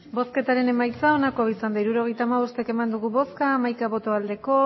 hirurogeita hamabost eman dugu bozka hamaika bai